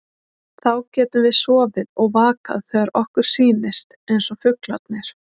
Þá getum við sofið og vakað þegar okkur sýnist, eins og fuglarnir.